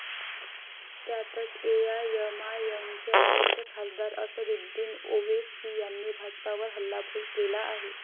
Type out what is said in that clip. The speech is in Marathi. त्यातच, एआयएमआयएमचे अध्यक्ष खासदार असदुद्दीन ओवेसी यांनी भाजपावर हल्लाबोल केला आहे.